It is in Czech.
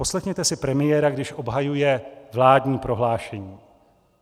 Poslechněte si premiéra, když obhajuje vládní prohlášení.